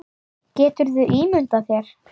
Geturðu ímyndað þér.